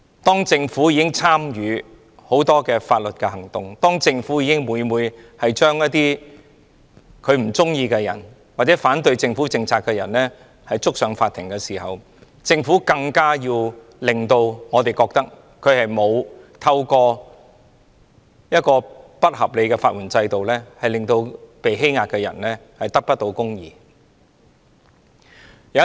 當政府自己也訴諸很多法律行動，將不喜歡或反對政府政策的人檢控，狀告法庭，政府便更應讓我們覺得它沒有透過不合理的法援制度，令被欺壓的人得不到公義。